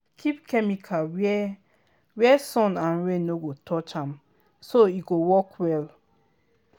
keep chemical where where sun and rain no go touch am so e go work well.